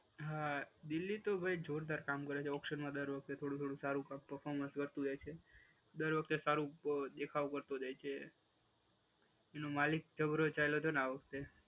હા દિલ્હી તો ભાઈ જોરદાર કામ કરે છે ઓક્શનમાં દર વખતે. થોડું થોડું સારુ પર્ફોર્મન્સ વધતું જાય છે. દર વખતે સારું દેખાવ વધતો જાય છે. એનો માલિક જબરો ચાલ્યો તો ને આ વખતે.